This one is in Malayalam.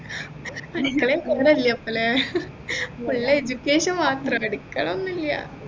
അടുക്കളയിൽ കേറലില്ലേ മോളേ full education മാത്രം അടുക്കള ഒന്നുമില്ല